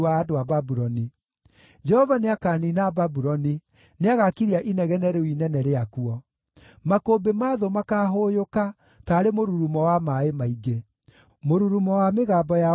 Jehova nĩakaniina Babuloni; nĩagakiria inegene rĩu inene rĩakuo. Makũmbĩ ma thũ makaahũũyũka taarĩ mũrurumo wa maaĩ maingĩ. Mũrurumo wa mĩgambo yao nĩĩkaiguuagwo.